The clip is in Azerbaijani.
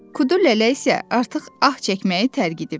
Kudulele isə artıq ah çəkməyi tərgitib.